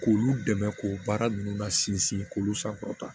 K'olu dɛmɛ k'o baara ninnu la sinsin k'olu san fɔlɔ tan